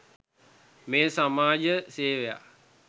මෙය සමාජ සෙවයක්.